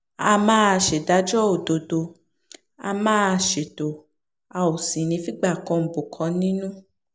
a máa ṣèdájọ́ òdodo a máa ṣètò a ò sì ní í figbá kan bọ̀kan nínú